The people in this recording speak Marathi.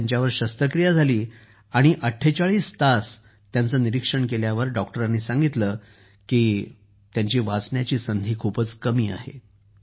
तिथं त्यांच्यावर शस्त्रक्रिया झाली आणि ४८ तास त्यांचं निरीक्षण केल्यावर डॉक्टरांनी सांगितलं की त्यांचे वाचण्याची संधी खूपच कमी आहे